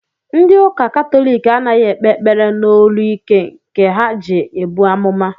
Ndị ụka katọlik anaghị ekpe ekpere n'olu ike nke ha ji ebu amụma